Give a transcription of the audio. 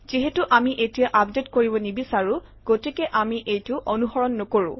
যিহেতু আমি এতিয়া আপডেট কৰিব নিবিচাৰোঁ গতিকে আমি এইটো অনুসৰণ নকৰোঁ